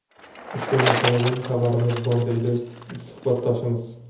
Ushbu masaladan xabarimiz bor, deydi suhbatdoshimiz.